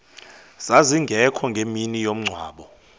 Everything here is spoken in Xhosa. zazingekho ngemini yomngcwabo